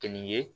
Kɛnin ye